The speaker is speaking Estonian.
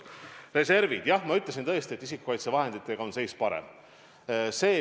Reservid – jah, ma ütlesin tõesti, et isikukaitsevahenditega on seis parem.